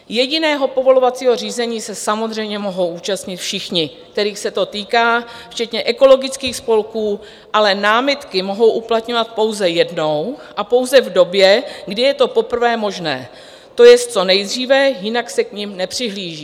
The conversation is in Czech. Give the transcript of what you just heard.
Jediného povolovacího řízení se samozřejmě mohou účastnit všichni, kterých se to týká, včetně ekologických spolků, ale námitky mohou uplatňovat pouze jednou a pouze v době, kdy je to poprvé možné, to jest co nejdříve, jinak se k nim nepřihlíží.